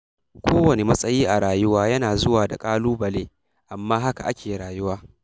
Kowane matsayi a rayuwa yana zuwa da ƙalubale, amma haka ake rayuwa